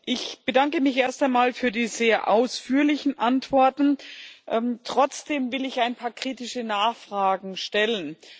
Ich bedanke mich erst einmal für die sehr ausführlichen Antworten. Trotzdem will ich ein paar kritische Nachfragen stellen.